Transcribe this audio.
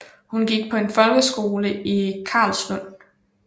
Hun gik på en folkeskole i Karlslunde